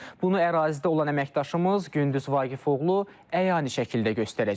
Bunu ərazidə olan əməkdaşımız Gündüz Vaqifoğlu əyani şəkildə göstərəcək.